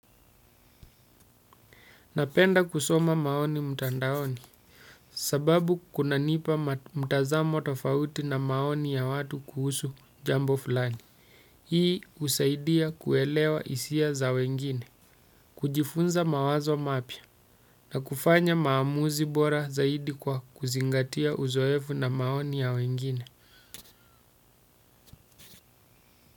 Napenda kusoma maoni mutandaoni sababu kuna nipa mtazamo tofauti na maoni ya watu kuhusu jambo fulani. Hii usaidia kuelewa isia za wengine, kujifunza mawazo mapya na kufanya maamuzi bora zaidi kwa kuzingatia uzoefu na maoni ya wengine.